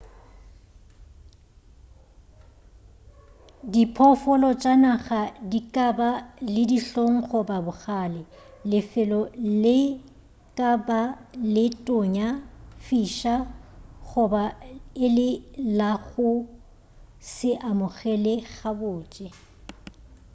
diphoofolo tša naga di ka ba le dihlong goba bogale lefelo le ka ba le tonya fiša goba e le la go se amogele gabotse